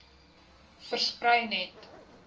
versprei net